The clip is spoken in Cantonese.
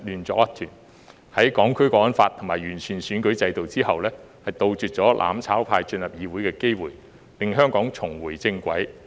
在落實《香港國安法》和完善選舉制度後，杜絕了"攬炒派"進入議會的機會，令香港重回正軌。